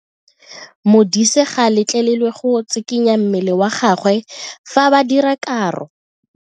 Modise ga a letlelelwa go tshikinya mmele wa gagwe fa ba dira karo.